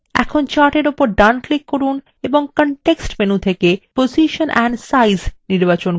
এখন chart এর উপর ডান click করুন এবং context menu থেকে position and size নির্বাচন করুন